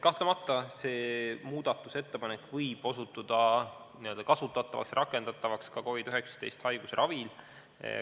Kahtlemata see muudatusettepanek võib osutada n-ö kasutatavaks, rakendatavaks ka COVID-19 haiguse ravil.